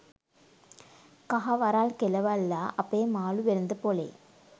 කහ වරළ් කෙලවල්ලා අපේ මාළු වෙළඳ පොලේ